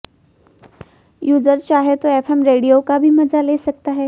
user चाहें तो FM radio का मजा भी ले सकता है